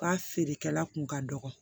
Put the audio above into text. U ka feerekɛla kun ka dɔgɔ